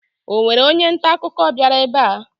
Ọ nwere onye nta akụkọ bịara ebe a?